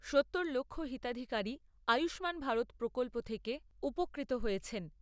সত্তর লক্ষ হিতাধিকারী আয়ুষ্মান ভারত প্রকল্প থেকে উপকৃত হয়েছেন